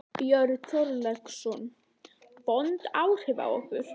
Björn Þorláksson: Vond áhrif á ykkur?